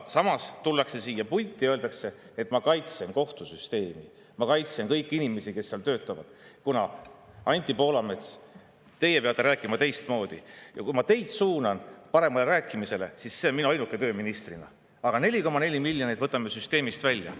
Samas tullakse siia pulti ja öeldakse, et ma kaitsen kohtusüsteemi, ma kaitsen kõiki inimesi, kes seal töötavad, Anti Poolamets, teie peate rääkima teistmoodi, ma suunan teid paremini rääkima, see on minu ainuke töö ministrina, aga 4,4 miljonit võtame süsteemist välja.